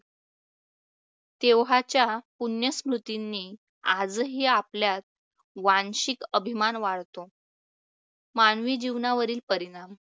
तेव्हाच्या पुण्य स्मृतीनी आजही आपल्यात वांशिक अभिमान वाढतो. मानवी जीवनावरील परिणाम